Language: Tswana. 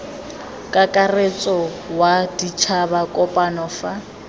kakaretso wa ditšhaba kopano fa